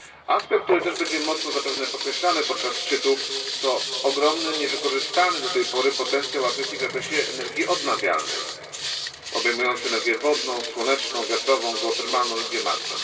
Aspekt, który będzie też zapewne mocno podkreślany podczas szczytu, to ogromny, niewykorzystany do tej pory potencjał Afryki w zakresie energii odnawialnej, obejmujący energię wodną, słoneczną, wiatrową, geotermalną i biomasę.